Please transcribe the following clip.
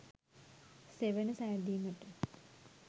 සෙවන සැදීමට